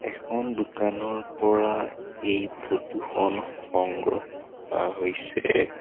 এখন দোকানৰ পৰা এই ফটো খন সংগ্ৰহ কৰা হৈছে।